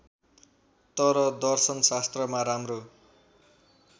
तर दर्शनशास्त्रमा राम्रो